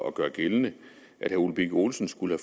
at gøre gældende at herre ole birk olesen skulle